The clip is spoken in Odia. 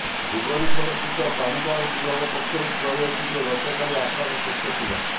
ଭୁବନେଶ୍ୱର ସ୍ଥିତ ପାଣିପାଗ ବିଭାଗ ପକ୍ଷରୁ କୁହାଯାଇଛି ଯେ ଗତକାଲି ଆକାଶ ସ୍ୱଚ୍ଛ ଥିଲା